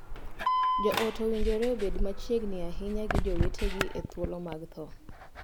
Joot owinjore obed machiegni ahinya gi jowetegi e thuolo mag thoo.